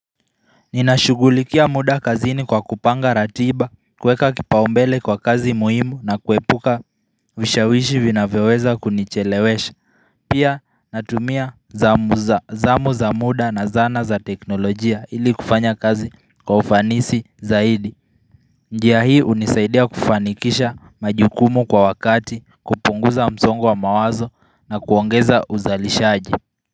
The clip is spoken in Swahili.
Ninashugulikia muda kazini kwa kupanga ratiba, kuweka kipaumbele kwa kazi muhimu na kuepuka vishawishi vinavyoweza kunichelewesha. Pia natumia zamu za muda na zana za teknolojia ili kufanya kazi kwa ufanisi zaidi. Njia hii hunisaidia kufanikisha majukumu kwa wakati, kupunguza msongo wa mawazo na kuongeza uzalishaji.